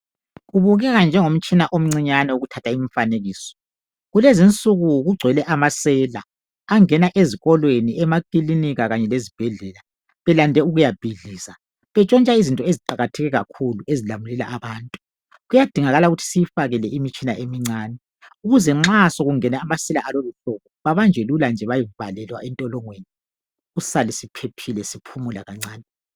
Kubukeka njengomtshina omncinyane wokuthatha imfanekiso. Kulezinsuju kugcwele amasela angena ezikolweni, emakilinika kanye lezibhedlela belande ukuyabhidliza betshontsha izinto eziqakatheke kakhulu ezilamulela abantu. Kuyadingakala ukuthi siyifake le imitshina emincane ukuze nxa sekungene amasela abanjwe lula nje bayevalelwa entolongweni sisale siphephile siphumula kancane.